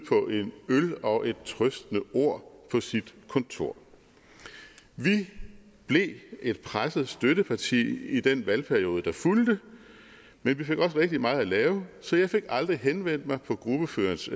øl og et trøstende ord på sit kontor vi blev et presset støtteparti i den valgperiode der fulgte men vi fik også rigtig meget at lave så jeg fik aldrig henvendt mig på ordførerens